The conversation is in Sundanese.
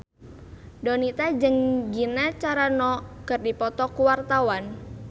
Donita jeung Gina Carano keur dipoto ku wartawan